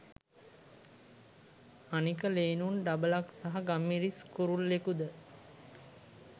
අනික ලේනුන් ඩබලක් සහ ගම්මිරිස් කුරුල්ලෙකු ද